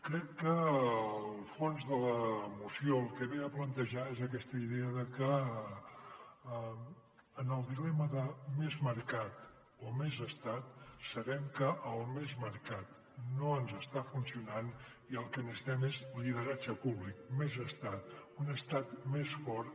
crec que el fons de la moció el que ve a plantejar és aquesta idea de que en el di·lema de més mercat o més estat sabem que el més mercat no ens està funcionant i el que necessitem és lideratge públic més estat un estat més fort